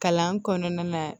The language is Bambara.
Kalan kɔnɔna na